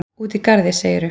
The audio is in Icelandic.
Úti í garði, segirðu?